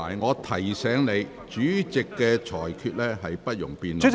我提醒你，主席的裁決是不容辯論的。